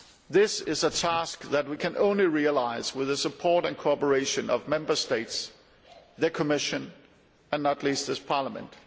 This is a task that we can only realise with the support and cooperation of the Member States, the Commission, and not least this Parliament.